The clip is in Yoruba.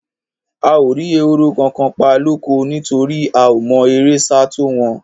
A ò rí ehoro kankan pa lóko, nítorí a ò mọ eré sá tó wọn.